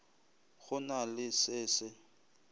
go na le se se